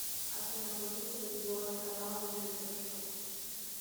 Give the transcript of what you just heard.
афина вруби телевизионный канал ювелирочка